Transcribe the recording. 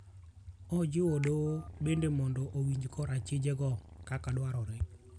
Ojiwo doho bendo mondo owinj kor achije go kaka dwarore.